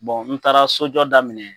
n taara sojɔ daminɛ,